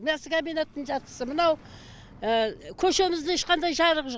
мясо комбинаттың жартысы мынау көшемізде ешқандай жарық жоқ